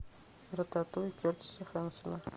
рататуй кертиса хэнсона